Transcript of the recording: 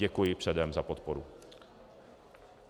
Děkuji předem za podporu.